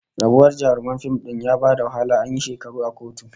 Rabuwar auren jaruman fim din ya ba da wahala, an yi shekaru a kotu